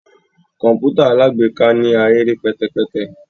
Kọǹpútà alágbèéká ni ahere pẹtẹpẹtẹ